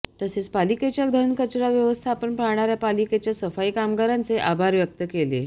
तसेच पालिकेच्या घनकचरा व्यवस्थापन पाहणाऱ्या पालिकेच्या सफाई कामगारांचे आभार व्यक्त केले